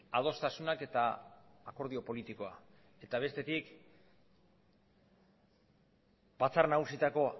adostasunak eta akordio politikoa eta bestetik batzar nagusietako